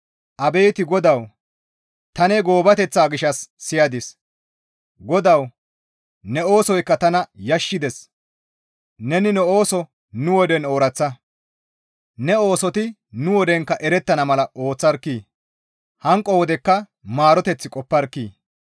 Abeet GODAWU! Ta ne goobateththa gishshas siyadis. GODAWU ne oosoykka tana yashissides; neni ne ooso nu woden ooraththa; ne oosoti nu wodenkka erettana mala ooththarkkii! Hanqo wodekka maaroteth qopparkkii!